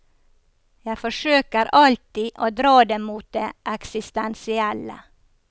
Jeg forsøker alltid å dra det mot det eksistensielle.